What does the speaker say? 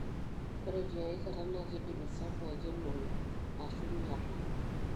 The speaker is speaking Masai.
ore tiai kataa na kindim sapo aikenoyu ashu inyiala.